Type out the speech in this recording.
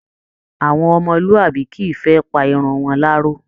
Àwọn ọmọlúàbí kìí fẹ́ pa irun wọn láró